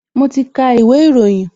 Mo ti ka ìwé ìròyìn